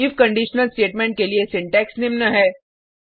if conditional statement के लिए syntax निम्न है